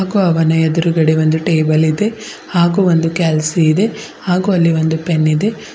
ಹಾಗು ಅವನ ಎದುರುಗಡೆ ಒಂದು ಟೇಬಲ್ ಇದೆ ಹಾಗು ಒಂದು ಕ್ಯಾಲ್ಸಿ ಇದೆ ಹಾಗು ಅಲ್ಲಿ ಒಂದು ಪೆನ್ನಿ ದೆ.